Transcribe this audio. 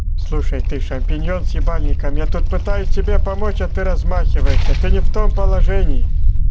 слушай ты шампиньон с ебальником я тут пытаюсь тебе помочь а ты размахиваешься а ты не в том положении